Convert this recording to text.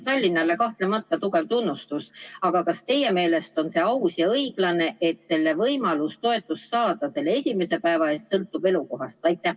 Tallinnale kahtlemata suur tunnustus, aga kas teie meelest on see aus ja õiglane, et võimalus toetust saada sellel esimesel päeval sõltub elukohast?